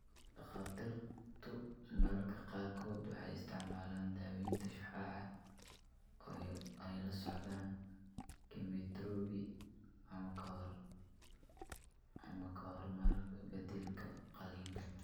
Dhakhaatiirtu mararka qaarkood waxay isticmaalaan daaweynta shucaaca oo ay la socdaan kiimoterabi, ama ka hor ama beddelka qalliinka.